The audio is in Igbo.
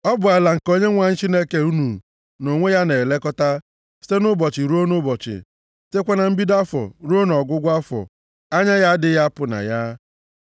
Ọ bụ ala nke Onyenwe anyị Chineke unu nʼonwe ya na-elekọta! Site nʼụbọchị ruo nʼụbọchị, sitekwa na mbido afọ ruo nʼọgwụgwụ afọ, anya ya adịghị apụ na ya.